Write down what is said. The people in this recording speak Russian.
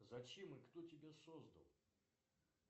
зачем и кто тебя создал